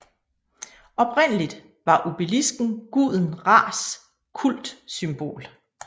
Oprindeligt var obelisken guden Ras kultsymbol